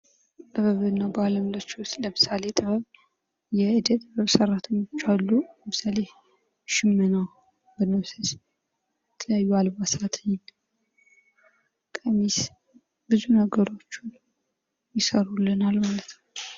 የጥበብ ዓይነቶች እንደ ሥዕል፣ ቅርፃቅርፅ፣ ሙዚቃ፣ ትያትርና ስነ-ጽሑፍ የተለያዩ የመግለጫ መንገዶችን ያካትታሉ።